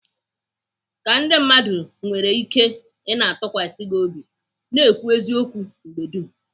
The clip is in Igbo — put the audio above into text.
Ka ndị mmadụ nwere ike ị na-atụkwasị gị obi, na-ekwu eziokwu mgbe dum.